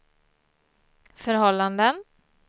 förhållanden